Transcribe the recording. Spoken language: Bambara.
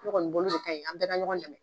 N kɔni bolo, o de kaɲi, an bɛ ka ɲɔgɔn dɛmɛ.